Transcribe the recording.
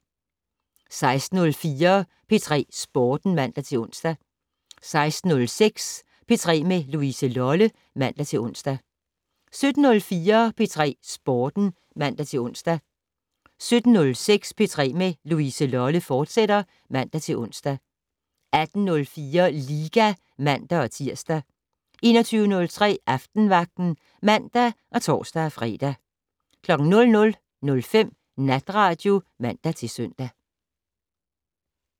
16:04: P3 Sporten (man-ons) 16:06: P3 med Louise Lolle (man-ons) 17:04: P3 Sporten (man-ons) 17:06: P3 med Louise Lolle, fortsat (man-ons) 18:04: Liga (man-tir) 21:03: Aftenvagten (man og tor-fre) 00:05: Natradio (man-søn)